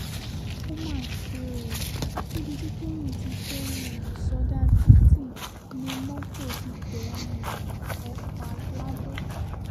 ó mà ṣe o níbi tí tọ́yìn ti fẹ́ẹ́ um sọdá títì ni mọ́tò ti tẹ̀ um ẹ́ pa lado